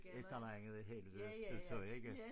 Et eller andet helvede udtryk ikke